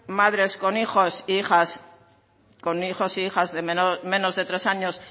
madres con hijos e hijas de menos de tres años